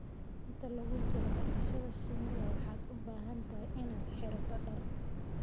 Inta lagu jiro dhaqashada shinnida waxaad u baahan tahay inaad xirato dhar